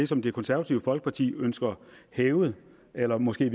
som det konservative folkeparti ønsker hævet eller måske